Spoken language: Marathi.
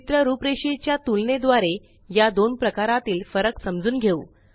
चित्र रुपरेषेच्या तुलनेद्वारे या दोन प्रकारातील फरक समजून घेऊ